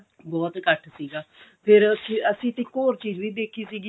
ਬਹੁਤ ਇੱਕਠ ਸੀਗਾ ਫੇਰ ਉੱਥੇ ਅਸੀਂ ਇਕ ਹੋਰ ਚੀਜ ਵੀ ਦੇਖੀ ਸੀਗੀ